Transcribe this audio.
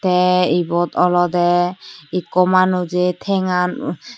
tey ibot olodey ekku manujey thengan.